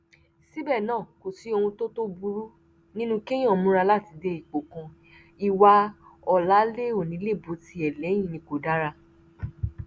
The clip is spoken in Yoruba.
síbẹ náà kò sí ohun tó tó burú nínú kéèyàn múra láti dé ipò kan ìwà ọ̀láléònílèbotiẹ̀lẹ́yìn ni kò dára